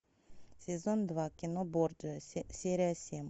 сезон два кино борджиа серия семь